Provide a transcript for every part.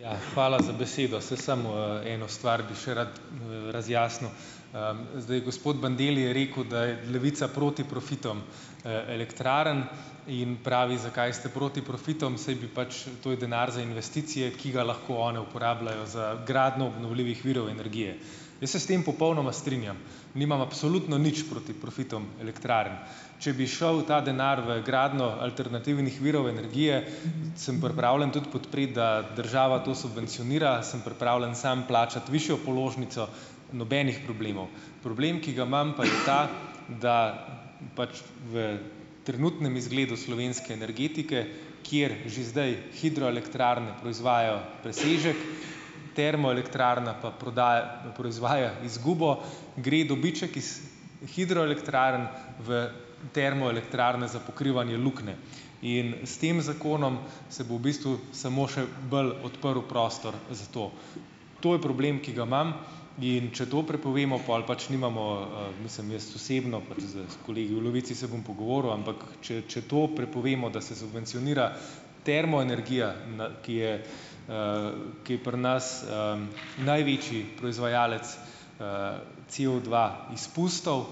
Ja, hvala za besedo. Saj samo, eno stvar bi še rad, razjasnil. Zdaj, gospod Bandelli je rekel, da je Levica proti profitom, elektrarn in pravi, zakaj ste proti profitom, saj bi pač, to je denar za investicije, ki ga lahko one uporabljajo za gradnjo obnovljivih virov energije. Jaz se s tem popolnoma strinjam, nimam absolutno nič proti profitom elektrarn. Če bi šel ta denar v gradnjo alternativnih virov energije, sem pripravljen tudi podpreti, da država to subvencionira, sem pripravljen sam plačati višjo položnico, nobenih problemov. Problem, ki ga imam, pa je ta, da pač v trenutnem izgledu slovenske energetike, kjer že zdaj hidroelektrarne proizvajajo presežek, termoelektrarna pa prodaja, proizvaja izgubo, gre dobiček iz hidroelektrarn v termoelektrarne za pokrivanje luknje. In s tem zakonom se bo v bistvu samo še bolj odprl prostor za to. To je problem, ki ga imam, in če to prepovemo, pol pač nimamo, mislim jaz osebno, pač d s kolegi v Levici se bom pogovoril, ampak če če to prepovemo, da se subvencionira termoenergija, ki je, ki je pri nas, največji proizvajalec, COdva izpustov,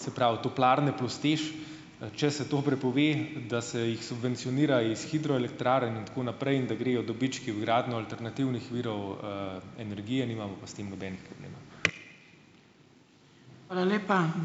se pravi, toplarne plus TEŠ, ,če se to prepove, da se jih subvencionira iz hidroelektrarn in tako naprej in da grejo dobički v gradnjo alternativnih virov, energije, nimamo pa s tem nobenih problemov.